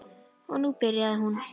Og nú byrjaði hún.